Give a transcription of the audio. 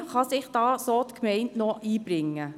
Wie kann sich die Gemeinde da noch einbringen?